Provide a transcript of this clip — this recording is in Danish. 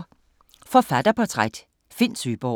Forfatterportræt: Finn Søeborg